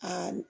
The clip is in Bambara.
Aa